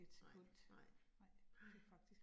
Nej nej, nej